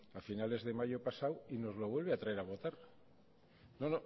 a finales de mayo pasado y nos lo vuelve a traer a votar no